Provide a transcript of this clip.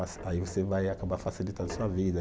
Aí você vai acabar facilitando a sua vida.